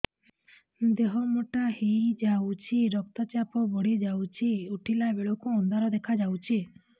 ଦେହ ମୋଟା ହେଇଯାଉଛି ରକ୍ତ ଚାପ ବଢ଼ି ଯାଉଛି ଉଠିଲା ବେଳକୁ ଅନ୍ଧାର ଦେଖା ଯାଉଛି